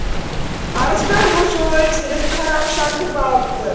арыстан бұл жолы теріс қарап жатып алыпты